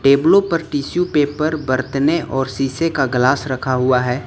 टेबलों पर tissue paper बरतने और शीशे का ग्लास रखा हुआ है।